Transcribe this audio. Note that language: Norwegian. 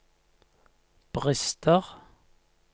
brister